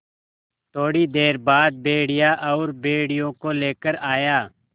थोड़ी देर बाद भेड़िया और भेड़ियों को लेकर आया